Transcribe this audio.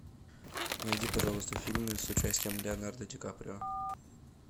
найди пожалуйста фильмы с участием леонардо ди каприо